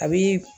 A bi